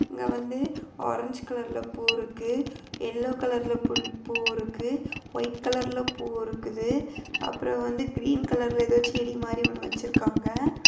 இங்க வந்து ஆரஞ்ச் கலர்ல பூ இருக்கு எல்லோ கலர்ல பூ இருக்கு ஒய்ட் கலர்ல பூ இருக்குது அப்புறம் வந்து கிரீன் கலர்ல ஏதோ செடி மாதிரி ஒன்னு வச்சிருக்காங்க.